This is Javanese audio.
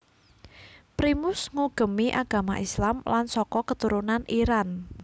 Primus ngugemi agama Islam lan saka keturunan Iran